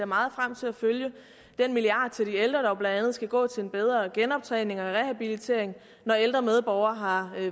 meget frem til at følge den milliard kroner til de ældre der blandt andet skal gå til en bedre genoptræning og rehabilitering når ældre medborgere har